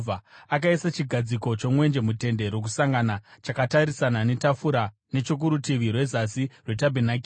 Akaisa chigadziko chomwenje muTende Rokusangana chakatarisana netafura nechokurutivi rwezasi rwetabhenakeri